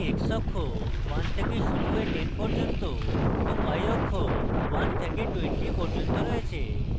আমার কাছে x অক্ষ 1 থেকে শুরু হয়ে 10 পর্যন্ত এবং y অক্ষ 1 থেকে 20 পর্যন্ত রয়েছে